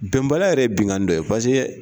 Bɛnbaliya yɛrɛ binkani dɔ ye.